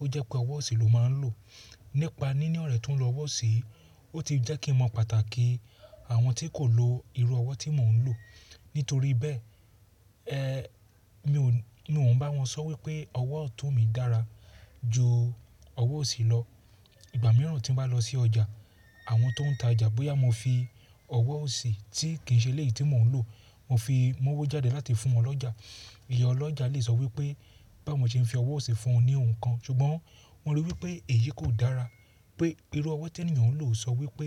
ó jẹ́ pé ọwọ́ òsì ló máa ń lò. Nípa níní ọ̀rẹ́ tó ń lo ọwọ́ òsì, ó ti jẹ́ kí n mọ pàtàkì àwọn tí kò lo irú ọwọ́ tí mò ń lò. Nítorí bẹ́ẹ̀, eh, mi ò, mi ò ń bá wọn sọ wípé ọwọ́ ọ̀tún mi dára ju ọwọ́ òsì lọ. Ìgbà mìíràn tí mo bá lọ sí ọjà, àwọn tó ń ta ọjà bóyá mo fi ọwọ́ òsì tí kì í ṣe ilẹ̀ yìí tí mò ń lò, mo fi mọ́wọ́ jáde láti fún ọlọ́jà. Ìyá ọlọ́jà lè sọ wípé báwo ṣe ń fi ọwọ́ òsì fún ọ ní ohun kan, ṣùgbọ́n mo rí i wípé èyí kò dára. Pé irú ọwọ́ tí ènìyàn ń lò sọ wípé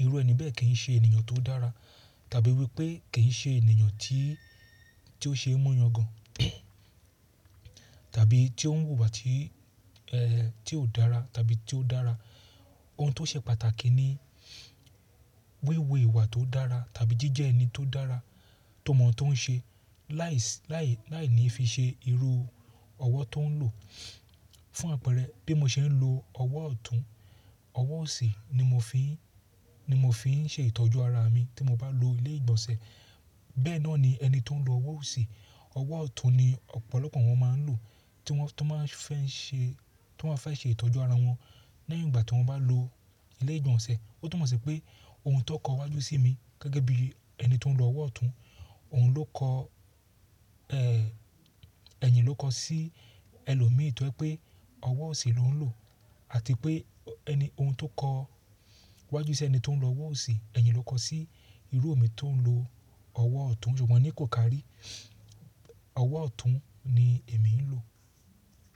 irú ẹni bẹ́ẹ̀ kì í ṣe ènìyàn tó dára, tàbí wípé kì í ṣe ènìyàn tí, tí ó ṣe é muyan gan, tàbí tí ó ń wùwà tí, eh, tí ò dára tàbí tí ó dára. Ohun tó ṣe pàtàkì ni wíwo ìwà tó dára tàbí jíjẹ ẹni tó dára, tó mọ̀ tó ń ṣe, láìsí, láì, láì ní fi ṣe irú ọwọ́ tó ń lò. Fún àpẹẹrẹ bí mo ṣe ń lo ọwọ́ ọ̀tún, ọwọ́ òsì ni mo fi ń, ni mo fi ń ṣe ìtọ́jú ara mi tí mo bá lọ ilé ìgbọ̀nsẹ̀. Bẹ́ẹ̀ náà ni ẹni tó ń lo ọwọ́ òsì, ọwọ́ ọ̀tún ni ọ̀pọ̀lọpọ̀ wọn máa ń lò tí wọ́n tó máa fẹ́ ń ṣe, tí wọ́n fẹ́ ṣe ìtọ́jú ara wọn lẹ́yìn ìgbà tí wọ́n bá lọ ilé ìgbọ̀nsẹ̀. Ó tu mo sí pé ohun tó kọ wájú sí mi gẹ́gẹ́ bí ẹni tó ń lo ọwọ́ ọ̀tún, òun ló kọ, eh, ẹ̀yin ló kọ sí ẹlòmíì tó ẹ pé ọwọ́ òsì ló ń lò àti pé ẹni, ohun tó kọ iwájú sí ẹni tó ń lo ọwọ́ òsì, ẹ̀yin ló kọ sí irú òmi tó ń lo ọwọ́ ọ̀tún. Ṣùgbọ́n ní kò kàrí, ọwọ́ ọ̀tún ni èmi ń lò.